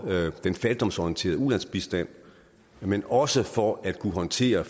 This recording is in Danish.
den fattigdomsorienterede ulandsbistand men også for at kunne håndtere